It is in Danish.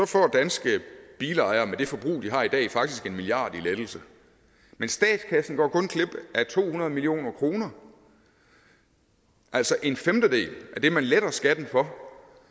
får danske bilejere med det forbrug de har i dag faktisk en milliard kroner i lettelse men statskassen går kun glip af to hundrede million kr altså en femtedel af det man letter skatten for